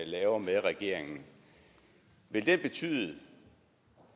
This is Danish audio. laver med regeringen betyde